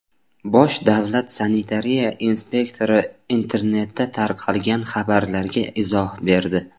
Bosh davlat sanitariya inspektori internetda tarqalgan xabarlarga izoh berdi.